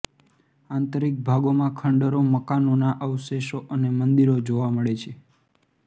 આંતરિક ભાગોમાં ખંડરો મકાનોના અવશેષો અને મંદિરો જોવા મળે છે